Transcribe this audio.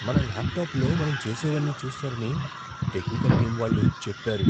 మన ల్యాప్టాప్లో మనం చేసేవన్నీ చూస్తారని టెక్నికల్ టీమ్ వాళ్ళు చెప్పారు.